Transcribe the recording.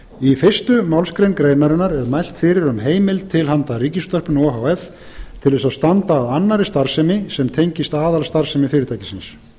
í fyrstu málsgrein greinarinnar er mælt fyrir um heimild til handa ríkisútvarpinu o h f til þess að standa að annarri starfsemi sem tengist aðalstarfsemi fyrirtækisins